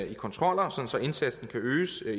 i kontroller så indsatsen kan øges